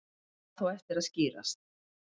Þetta á þó eftir að skýrast.